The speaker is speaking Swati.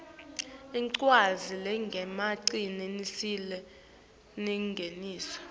tincwadzi letingemaciniso naletingesiwo